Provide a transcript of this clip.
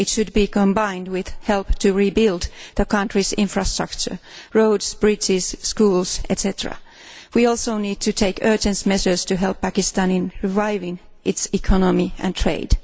It should be combined with help to rebuild the country's infrastructure roads, bridges, schools, etc. We also need to take urgent measures to help Pakistan in reviving its economy and trade.